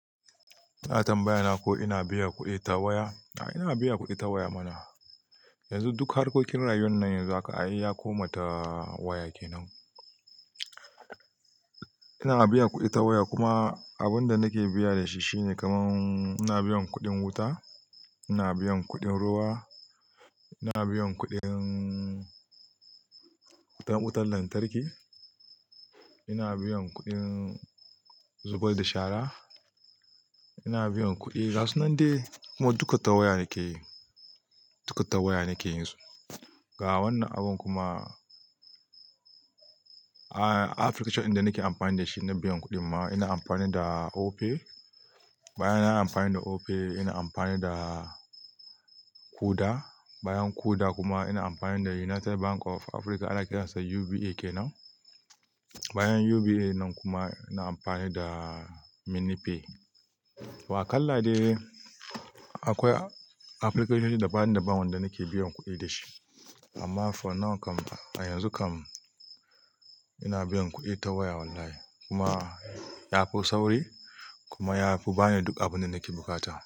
Ana tambaya na ko ina biya kuɗi ta waya. A'a ina biya kuɗi ta waya mana. Yanzu duk harkokin rayuwan nan yanzu haka ai ya koma ta waya kenan. Ina biyan kuɗi ta waya kuma abun da nake biya da shi shine kaman ina biyan kuɗin wuta, ina biyan kuɗin ruwa, ina biyan kuɗin wuta wutan lantarki, ina biyan kuɗin zubar da shara, ina biyan kuɗi gasu nan dai kuma duka ta waya nake yi, duka ta waya nake yanzu. Ga wannan abun kuma a-a application ɗin da nake amfani da shi na biyan kuɗin ma ina amfani da Opay. Bayan ina amfani da Opay ina amfani da Kuda. Bayan Kuda kuma ina amfani da United Bank of Africa ana kiransa UBA kenan. Bayan UBA nan kuma ina amfani da MiniPay. To kalla dai akwai application ɗin daban daban wanda nake biyan kuɗi da shi amma for now kam a yanzu kam ina biyan kuɗi ta waya wallahi kuma ya fi sauri kuma ya fi bani duk abin da nake bukata.